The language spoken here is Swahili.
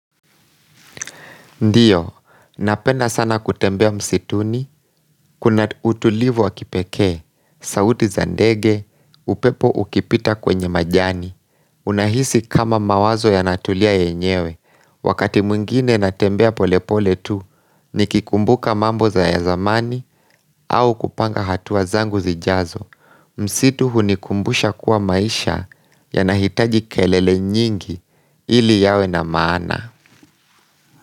Ndiyo, napenda sana kutembea msituni, kuna utulivu wa kipekee, sauti za ndege, upepo ukipita kwenye majani, unahisi kama mawazo yanatulia yenyewe, wakati mwingine natembea polepole tu, nikikumbuka mambo ya zamani, au kupanga hatua zangu zijazo, msitu hunikumbusha kuwa maisha yanahitaji kelele nyingi ili yawe na maana.